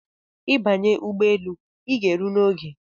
I banye ụgbọelu ịga ero n’oge